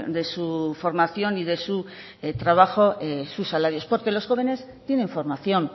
de su formación y de su trabajo sus salarios porque los jóvenes tienen formación